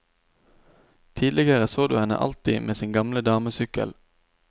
Tidligere så du henne alltid med sin gamle damesykkel.